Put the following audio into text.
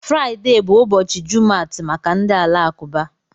Friday bụ ụbọchị Jumat maka ndị Alakụba.